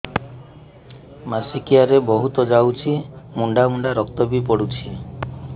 ମାସିକିଆ ରେ ବହୁତ ଯାଉଛି ମୁଣ୍ଡା ମୁଣ୍ଡା ରକ୍ତ ବି ପଡୁଛି